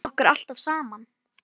Við lékum okkur alltaf saman.